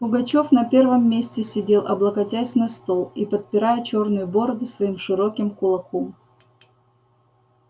пугачёв на первом месте сидел облокотясь на стол и подпирая чёрную бороду своим широким кулаком